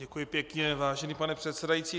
Děkuji pěkně, vážený pane předsedající.